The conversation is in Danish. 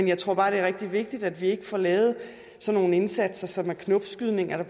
jeg tror bare det er rigtig vigtigt at vi ikke får lavet sådan nogle indsatser som er knopskydninger